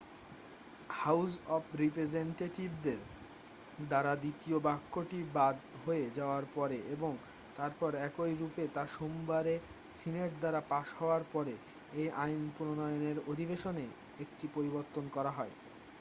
house of রিপ্রেজেন্টটেটিভদের দ্বারা দ্বিতীয় বাক্যটি বাদ হয়ে যাওয়ার পরে এবং তারপর একই রূপে তা সোমবারে সিনেট দ্বারা পাশ হওয়ার পরে এই আইন প্রণয়নের অধিবেশনে একটি পরিবর্তন করা হয়